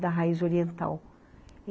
Da raiz oriental.